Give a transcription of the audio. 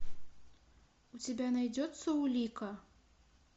у тебя найдется улика